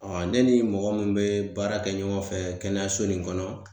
ne ni mɔgɔ min bɛ baara kɛ ɲɔgɔn fɛ kɛnɛyaso nin kɔnɔ